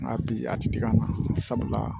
Nka bi a ti dig'a na sabula